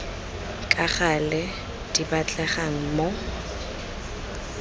ka gale di batlegang mo